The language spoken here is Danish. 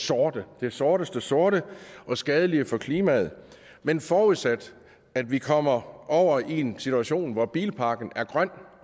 sorte det sorteste sorte og skadelige for klimaet men forudsat at vi kommer over i en situation hvor bilparken er grøn